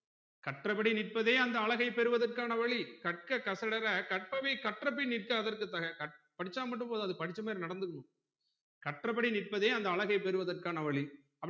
கற்றபடி நிற்பதே அந்த அழகை பெறுவதற்கான வழி கற்க கசடற கர்ப்பவை கற்றப்பின் நிற்க அதற்க்கு தக கற் படிச்சா மட்டும் போதாது படிச்ச மாதிரி நடந்துக்கணும் கற்றப்படி நிற்ப்பதே அந்த அழகை பெறுவதற்கான வழி